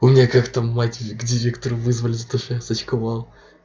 у меня как-то мать к директору вызвали за то что я сачковал